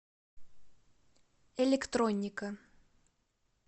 электроника